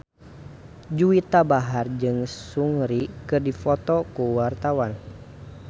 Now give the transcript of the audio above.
Juwita Bahar jeung Seungri keur dipoto ku wartawan